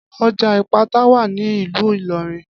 Ọjà Ìpátá wà ní ìlú Ìlọrin